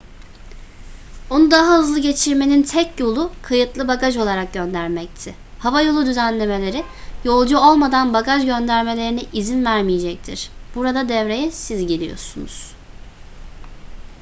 onu daha hızlı geçirmenin tek yolu kayıtlı bagaj olarak göndermekti havayolu düzenlemeleri yolcu olmadan bagaj göndermelerine izin vermeyecektir burada devreye siz giriyorsunuz